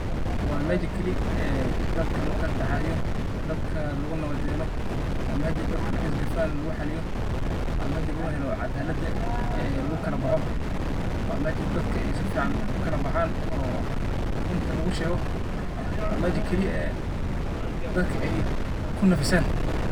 wa meja kali dadka lagu kala daxdaxadiyo, dadka lagu nabad yelo wa meja dadka markey is gaafaan lagu xaaliyo, wa meja lagu helo cadaladha lagu kala baaxo wa meja dadka sifican ukala baxaan oo runta lagu shego wa meja kaliya ee dadka ku nafisan.